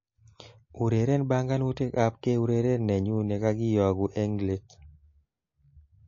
Ureren banganutikab keureren nenyu nekakiyoku eng leet